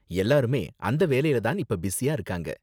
எல்லாருமே அந்த வேலைல தான் இப்ப பிஸியா இருக்காங்க.